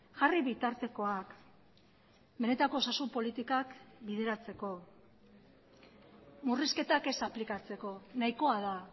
jarri bitartekoak benetako osasun politikak bideratzeko murrizketak ez aplikatzeko nahikoa da